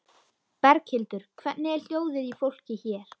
Berghildur: Hvernig er hljóðið í fólki hér?